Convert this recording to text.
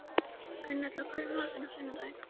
Gunnella, hvað er í matinn á sunnudaginn?